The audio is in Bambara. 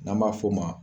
N'an b'a f'o ma